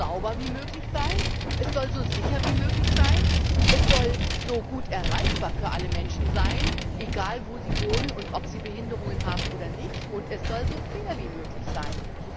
Es soll so sauber wie möglich sein, es soll so sicher wie möglich sein, es soll so gut erreichbar wie möglich für alle Menschen sein, egal wo sie wohnen und ob sie Behinderungen haben oder nicht, und es soll so fair wie möglich sein.